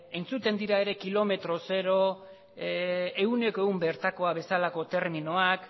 entzuten dira ere kilometro zero ehuneko ehun bertako bezalako terminoak